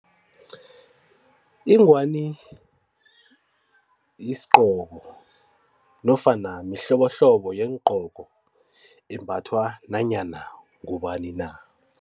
Inghwani yisigqoko nofana mihlobohlobo yeengqoko embathwa nanyana ngubani na.